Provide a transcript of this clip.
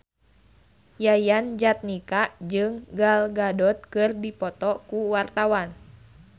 Yayan Jatnika jeung Gal Gadot keur dipoto ku wartawan